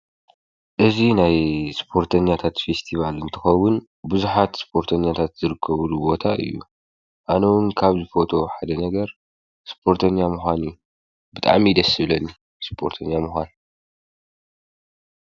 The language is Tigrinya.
እዚ ናይ እስፖርተኛታት ፈስቲቫል እንትኸውን ብዙሓት እስፖርተኛታት ዝርከብሉ ቦታ እዩ፡፡ ኣነ እውን ካብ ዝፈትዎ ሓደ ነገር እስፖተኛ ምዃን እዩ፡፡ ብጣዕሚ ደስ ዝብለኒ እስፖርተኛ ምዃን፡፡